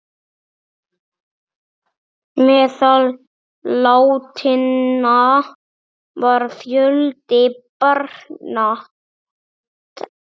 Meðal látinna var fjöldi barna.